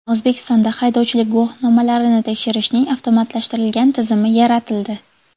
O‘zbekistonda haydovchilik guvohnomalarini tekshirishning avtomatlashtirilgan tizimi yaratildi.